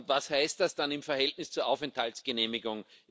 Was heißt das dann im Verhältnis zur Aufenthaltsgenehmigung?